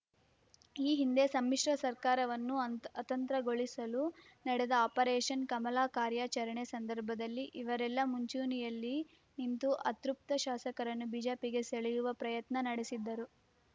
ಈ ಹಿಂದೆ ಸಮ್ಮಿಶ್ರ ಸರ್ಕಾರವನ್ನು ಅತಂ ಅತಂತ್ರಗೊಳಿಸಲು ನಡೆದ ಆಪರೇಷನ್ ಕಮಲ ಕಾರ್ಯಾಚರಣೆ ಸಂದರ್ಭದಲ್ಲಿ ಇವರೆಲ್ಲಾ ಮುಂಚೂಣಿಯಲ್ಲಿ ನಿಂತು ಅತೃಪ್ತ ಶಾಸಕರನ್ನು ಬಿಜೆಪಿಗೆ ಸೆಳೆಯುವ ಪ್ರಯತ್ನ ನಡೆಸಿದ್ದರು